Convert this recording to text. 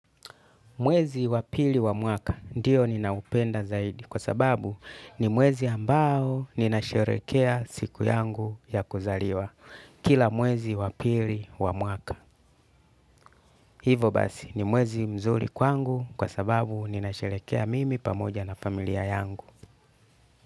Mwezi wa pili wa mwaka ndiyo ninaupenda zaidi kwa sababu ni mwezi ambao ninasherekea siku yangu ya kuzaliwa kila mwezi wa pili wa mwaka. Hivo basi ni mwezi mzuri kwangu kwa sababu ninasherehekea mimi pamoja na familia yangu.